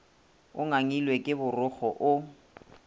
o ngangilwe ke borokgo o